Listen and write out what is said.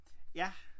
Ja